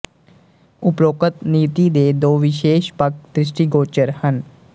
ਉਪਰੋਕਤ ਨੀਤੀ ਦੇ ਦੋ ਵਿਸ਼ੇਸ਼ ਪੱਖ ਦ੍ਰਿਸ਼ਟੀਗੋਚਰ ਹਨ